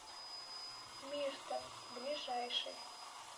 мирта ближайший